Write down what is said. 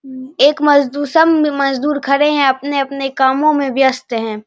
एक मजदूर सब मजदूर खड़े हैं अपने-अपने कामो में व्यस्त हैं।